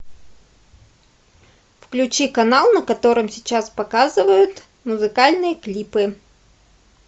включи канал на котором сейчас показывают музыкальные клипы